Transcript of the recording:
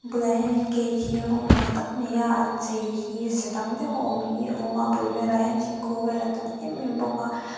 ah hianin gate hi rawng mak tak maia an chei hi ze dang deuha awm hi a awm a a bul velah hian thingkung vel a tam em em bawk a.